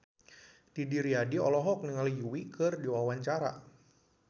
Didi Riyadi olohok ningali Yui keur diwawancara